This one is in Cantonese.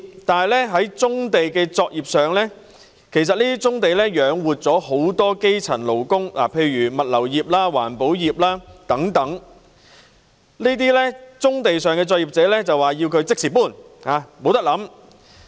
但是，對於棕地上的現有作業——其實這些作業養活了很多基層勞工，例如物流業和環保業等——反對者卻要求這些作業者立即搬走，不容他們考慮。